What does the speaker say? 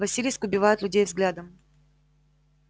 василиск убивает людей взглядом